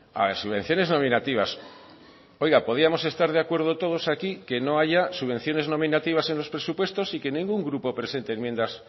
podríamos estar todos de acuerdo aquí que no haya subvenciones nominativas en los presupuestos y que ningún grupo presente enmiendas